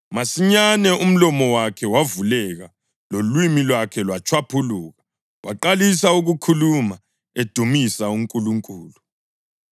Masinyane umlomo wakhe wavuleka lolimi lwakhe lwatshwaphuluka, waqalisa ukukhuluma edumisa uNkulunkulu.